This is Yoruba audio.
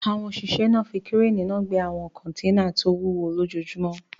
Àwọn òṣìṣẹ́ náà fi kírénì náà gbé àwọn kọ́nténà tó wúwo lójoojúmó